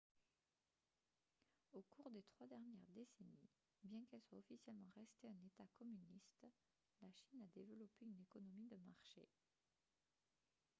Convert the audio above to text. au cours des trois dernières décennies bien qu'elle soit officiellement restée un état communiste la chine a développé une économie de marché